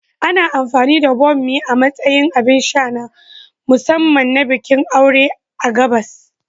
Ana amfani da bammi a matsayin abin sha na musamman na bikin aure a gabas.